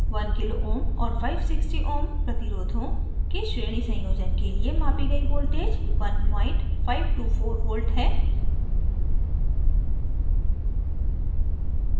1 kω kilo ohms और 560ω ohms प्रतिरोधों के श्रेणी संयोजन के लिए मापी गई voltage 1524v है